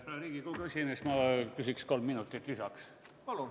Härra Riigikogu esimees, ma küsiks kolm minutit lisaks.